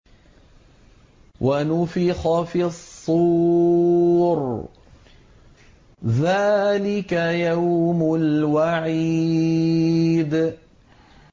وَنُفِخَ فِي الصُّورِ ۚ ذَٰلِكَ يَوْمُ الْوَعِيدِ